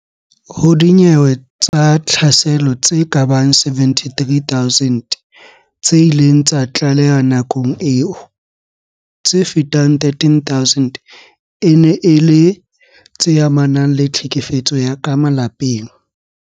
Ho dinyewe tsa tlhaselo tse kabang 73 000 tse ileng tsa tlalehwa nakong eo, tse fetang 13000 e ne e le tse amanang le tlhekefetso ya ka malapeng.